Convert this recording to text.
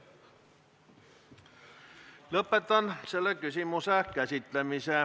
Lõpetan selle küsimuse käsitlemise.